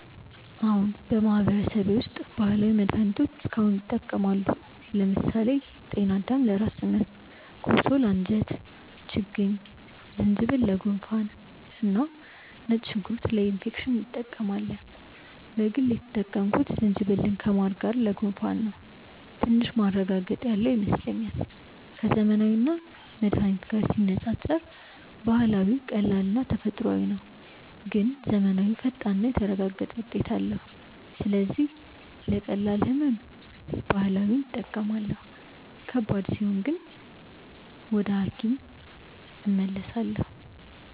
አዎን፣ በማህበረሰቤ ውስጥ ባህላዊ መድሃኒቶች እስካሁን ይጠቀማሉ። ለምሳሌ ጤናዳም ለራስ ህመም፣ ኮሶ ለአንጀት ችግኝ፣ ዝንጅብል ለጉንፋን እና ነጭ ሽንኩርት ለኢንፌክሽን እንጠቀማለን። በግል የተጠቀምኩት ዝንጅብልን ከማር ጋር ለጉንፋን ነው፤ ትንሽ ማረጋገጥ ያለው ይመስለኛል። ከዘመናዊ መድሃኒት ጋር ሲነጻጸር ባህላዊው ቀላልና ተፈጥሯዊ ነው፣ ግን ዘመናዊው ፈጣንና የተረጋገጠ ውጤት አለው። ስለዚህ ለቀላል ህመም ባህላዊ እጠቀማለሁ፣ ከባድ ሲሆን ግን ወደ ሐኪም እመለሳለሁ።